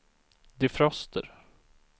defroster